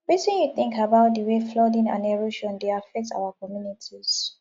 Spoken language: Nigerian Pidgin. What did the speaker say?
wetin you think about di way flooding and erosion dey affect our communities